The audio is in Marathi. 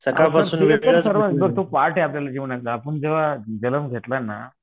पार्ट आहे आपल्या जीवनाचा आपण जेंव्हा जन्म घेतला ना